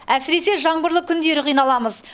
әсіресе жаңбырлы күндері қиналамыз